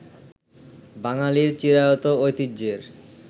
বাঙ্গালির চিরায়ত ঐতিহ্যের